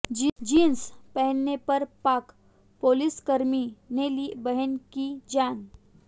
jeans पहनने पर पाक पुलिसकर्मी ने ली बहन की जान